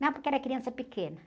Não, porque era criança pequena.